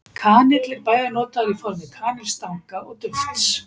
Kanill er bæði notaður í formi kanilstanga og dufts.